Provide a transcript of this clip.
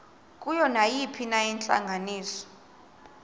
kuyo nayiphina intlanganiso